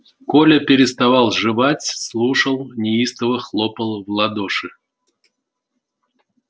коля переставал жевать слушал неистово хлопал в ладоши